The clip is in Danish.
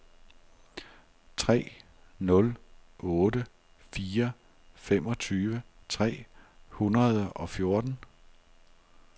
tre nul otte fire femogtyve tre hundrede og fjorten